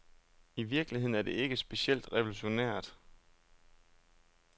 I virkeligheden er det ikke specielt revolutionært.